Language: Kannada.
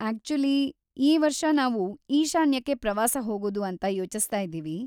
ಆಕ್ಚುಲಿ, ಈ ವರ್ಷ ನಾವು ಈಶಾನ್ಯಕ್ಕೆ ಪ್ರವಾಸ ಹೋಗೋದು ಅಂತ ಯೋಚಿಸ್ತಾ ಇದೀವಿ.